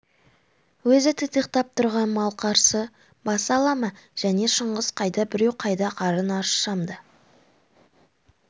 өзі титықтап тұрған мал қарсы баса ала ма және шыңғыс қайда біреу қайда қарын аршысам да